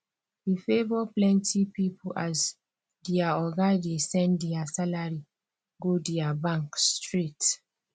e favor plenty people as their oga dey send their salary go their bank straight